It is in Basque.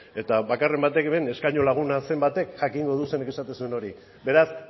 eta bakarren batek ere eskaño laguna zen batek jakingo du zeinek esaten zuen hori beraz